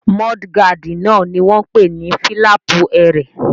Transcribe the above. Múdúgáàdì náà ni wọ́n n pè ní fílàpù ẹrẹ̀